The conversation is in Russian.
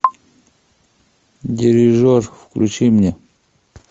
дирижер включи мне